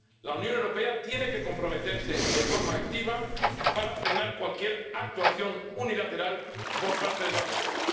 La Unión Europea tiene que comprometerse de forma activa para frenar cualquier actuación unilateral por parte de Marruecos.